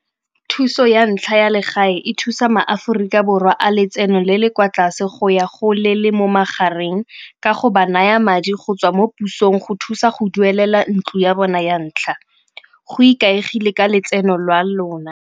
Thuso ya ntlha ya legae e thusa maAforika Borwa a letseno le le kwa tlase go ya go le le mo magareng ka go ba naya madi go tswa mo pusong go thusa go duelela ntlo ya bona ya ntlha. Go ikaegile ka letseno lwa lona.